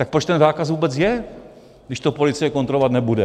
Tak proč ten zákaz vůbec je, když to policie kontrolovat nebude?